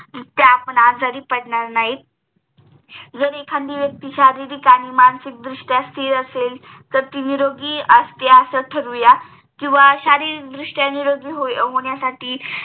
तर आपण आजारी पडणार नाही जर एखादी व्यक्ती शारीरिक आणि मासिक दृष्ट्या स्तिर असेल तेर ती निरोगी असेल असं ठरवू या किंवा शारीरिक दृष्ट्य निरोगी होण्यासाठी